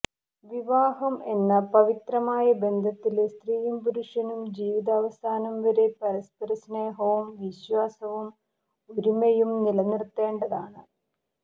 വിവാഹം എന്ന പവിത്രമായ ബന്ധത്തില് സ്ത്രീയും പുരുഷനും ജീവിതാവസാനം വരെ പരസ്പര സ്നേഹവും വിശ്വാസവും ഒരുമയും നിലനിര്ത്തേണ്ടതാണ്